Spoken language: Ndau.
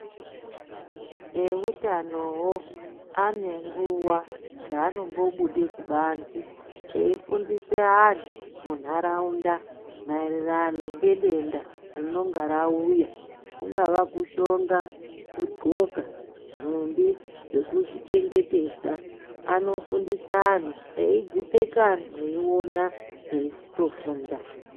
Eutanowo anenguwa dzaanombobude kubanzi eifundise anhu munharaunda maererano ngedenda ringadai rauya kungaa kushonga kudhloka nhumbi dzekuzvichengetedza anofundisa anhu eidzipfeka anhu eiona eitofunda.